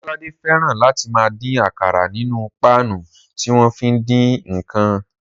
Ọlọ́ládé fẹ́ràn láti máa dín àkàrà nínú páànù tí wọ́n fi ń dín ǹkan